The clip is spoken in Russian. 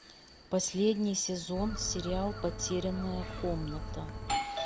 последний сезон сериал потерянная комната